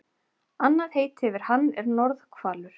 Annað heiti yfir hann er norðhvalur.